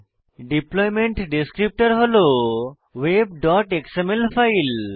deployment descriptor হল web XML file